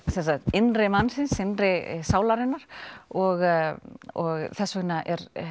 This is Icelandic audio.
innri mannsins innri sálarinnar og og þess vegna